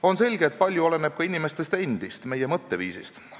On selge, et palju oleneb ka inimestest endist, meie mõtteviisist.